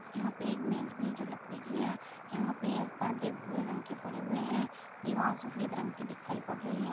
यहाँ पे एक मेज भी है जो लकड़ी की है। यहाँ पे एक पर्दे भूरे रंग के पड़े हुए हैं। दीवाल सफेद रंग की दिखाई पड़ रही है।